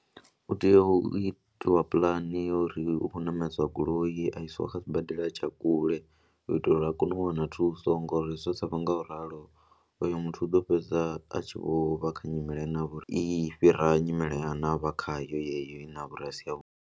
U tea u itiwa puḽani ya uri u khou ṋamedzwa goloi a isiwa kha sibadela tsha kule u itela uri a kone u wana thuso ngori zwa sa vha nga u ralo oyo muthu u ḓo fhedza a tshi vho vha kha nyimele ine ya vha uri i fhira nyimele ine a vha khayo yeyo ine ya vha uri a si yavhuḓi.